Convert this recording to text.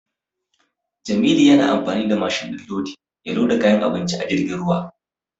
Jamilu yana amfani da mashin din lodi ya loda kayan abinci a jirgin ruwa.